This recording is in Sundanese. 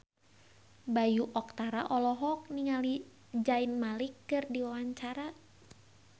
Bayu Octara olohok ningali Zayn Malik keur diwawancara